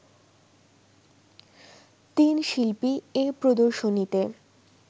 তিন শিল্পী এ প্রদর্শনীতে